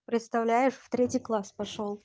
представляешь в третий класс пошёл